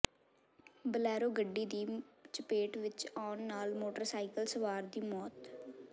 Bolero ਗੱਡੀ ਦੀ ਚਪੇਟ ਵਿਚ ਆਉਣ ਨਾਲ ਮੋਟਰਸਾਈਕਲ ਸਵਾਰ ਦੀ ਮੌਤ